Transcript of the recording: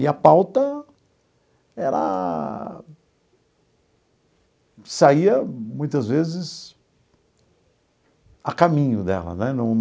E a pauta era saía, muitas vezes, a caminho dela né.